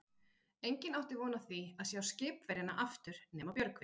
Enginn átti von á því að sjá skipverjana aftur nema Björgvin.